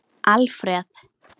Alfreð